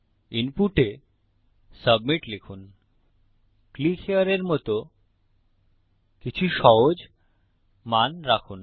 ইনপুটে submit লিখুন click here এর মত কিছু সহজ মান রাখুন